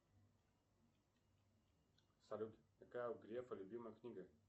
салют какая у грефа любимая книга